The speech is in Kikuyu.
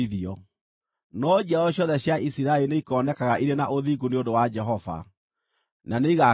No njiaro ciothe cia Isiraeli nĩikoonekaga irĩ na ũthingu nĩ ũndũ wa Jehova, na nĩigakena mũno.